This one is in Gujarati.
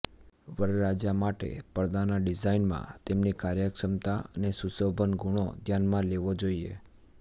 વરરાજા માટે પડદાના ડિઝાઇનમાં તેમની કાર્યક્ષમતા અને સુશોભન ગુણો ધ્યાનમાં લેવો જોઈએ